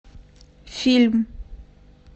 фильм